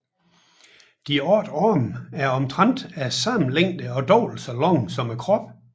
De otte arme er omtrent af samme længde og dobbelt så lange som kroppen